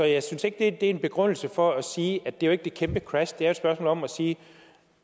jeg synes ikke det er en begrundelse for at sige at det er et kæmpe crash det er jo et spørgsmål om at sige at